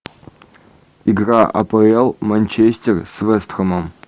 игра апл манчестер с вест хэмом